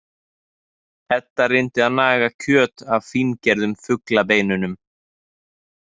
Edda reyndi að naga kjöt af fíngerðum fuglabeinunum.